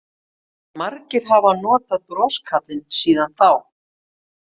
Margir hafa notað broskarlinn síðan þá.